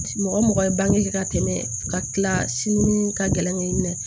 Mɔgɔ mɔgɔ ye bange ka tɛmɛ ka kila sini ka gɛlɛn kɛ i minɛ